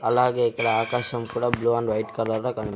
అలాగే ఇక్కడ ఆకాశం కూడా బ్లూ అండ్ వైట్ కలర్ లో కన--